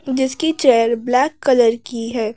जिसकी chair black colour की है।